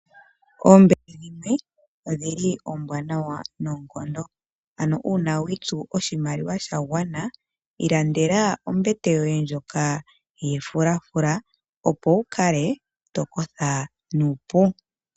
Oombete odhili oombwanawa noonkondo, ano uuna wiitsu oshimaliwa sha gwana ilandela ombete yoye ndjoka yefulafula, opo wukale tokotha nuupu.